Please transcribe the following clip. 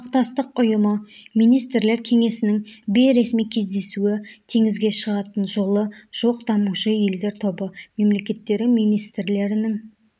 ынтымақтастық ұйымы министрлер кеңесінің бейресми кездесуі теңізге шығатын жолы жоқ дамушы елдер тобы мемлекеттері министрлерінің